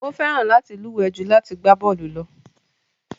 Ó fẹ́ràn láti luwe ju láti gbá bọ́ọlù lọ.